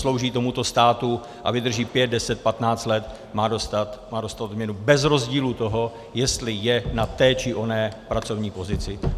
Slouží tomuto státu a vydrží 5, 10, 15 let, má dostat odměnu bez rozdílu toho, jestli je na té, či oné pracovní pozici.